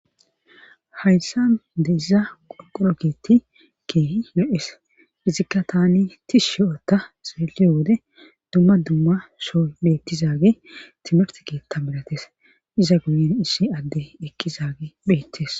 Hayssa de iza qonqoroketti ke yo7es izikka tani tish shi7ota xeeliyo wode dumma dumma shooy beettizaage timert keta milates iza guyen issi adde ekki zaage beettes